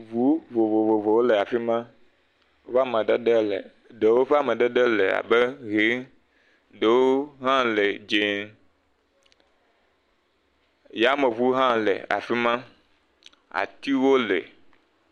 Ŋu vovovowo le afi ma. Wo amadede le ɖewo ƒe amadede le abe ʋi ɖewo hã le dzee. Yameŋu hã le afi ma. Atiwo le.